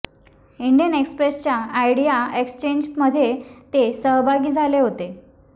Indian Express च्या idea एक्सचेंजमध्ये ते सहभागी झाले होते